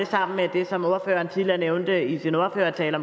sammen med det som ordføreren tidligere nævnte i sin ordførertale